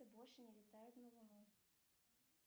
больше не летают на луну